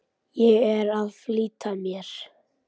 Ég er að flýta mér!